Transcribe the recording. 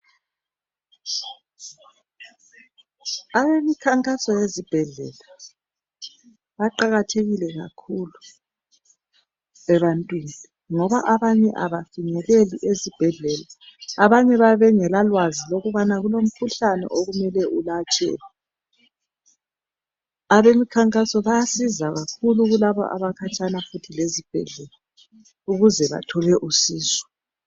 Abemikhankaso yezibhedlela baqakathekile kakhulu ebantwini ngoba abanye abafinyeleli ezibhedlela. Abanye bayabe bengela lwazi lokubana kulomkhuhlane okumele ulatshwe. Abemikhankaso bayasiza kakhulu kulaba futhi abakhatshana futhi lezibhedlela ukuze bathole usizo.